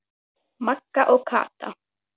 Magga og Kata.